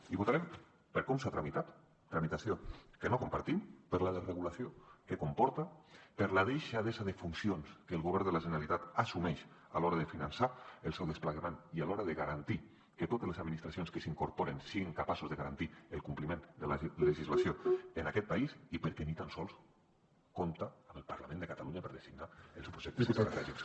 i ho votarem per com s’ha tramitat tramitació que no compartim per la desregulació que comporta per la deixadesa de funcions que el govern de la generalitat assumeix a l’hora de finançar el seu desplegament i a l’hora de garantir que totes les administracions que s’hi incorporen siguin capaces de garantir el compliment de la legislació en aquest país i perquè ni tan sols compta amb el parlament de catalunya per designar els projectes estratègics